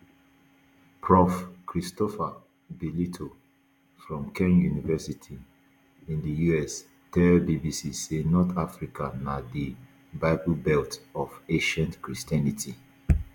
prof christopher bellitto from kean university in di us tell bbc say north africa na di bible belt of ancient christianity